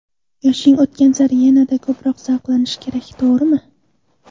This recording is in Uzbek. Yoshing o‘tgan sari yanada ko‘proq zavqlanish kerak, to‘g‘rimi?